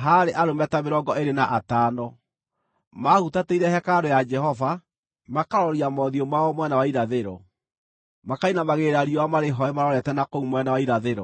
haarĩ arũme ta mĩrongo ĩĩrĩ na atano. Maahutatĩire hekarũ ya Jehova, makaroria mothiũ mao mwena wa irathĩro, makainamagĩrĩra riũa marĩhooe marorete na kũu mwena wa irathĩro.